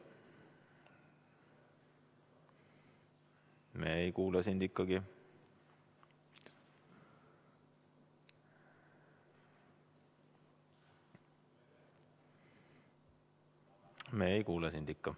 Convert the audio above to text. Me ei kuule sind ikkagi.